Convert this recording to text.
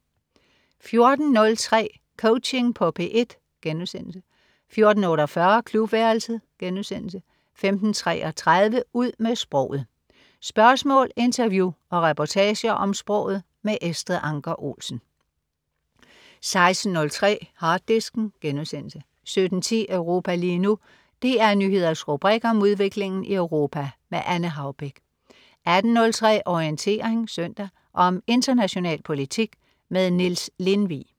14.03 Coaching på P1* 14.48 Klubværelset* 15.33 Ud med sproget. Spørgsmål, interview og reportager om sproget. Estrid Anker Olsen 16.03 Harddisken* 17.10 Europa lige nu. DR Nyheders rubrik om udviklingen i Europa. Anne Haubek 18.03 Orientering Søndag. Om international politik. Niels Lindvig